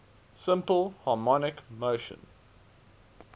simple harmonic motion